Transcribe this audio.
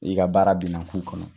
I ka baara bi na k'u kɔnɔ.